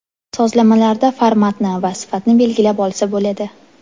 Sozlamalarda formatni va sifatni belgilab olsa bo‘ladi.